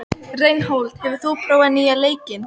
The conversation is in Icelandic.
Reinhold, hefur þú prófað nýja leikinn?